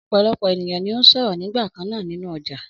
Ọ̀pọ̀lọpọ̀ ènìyàn ni ó ń sọ̀rọ̀ nígbà kan náà nínú ọjà.